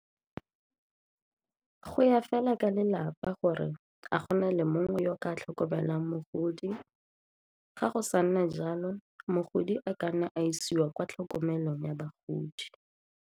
Go ya fela ka lelapa gore a go na le mongwe yo o ka tlhokomelang mogodi, ga go sa nna jalo mogodi a ka nne a isiwa kwa tlhokomelong ya bagodi.